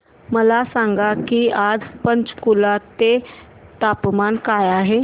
मला सांगा की आज पंचकुला चे तापमान काय आहे